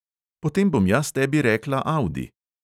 Potem bom jaz tebi rekla audi.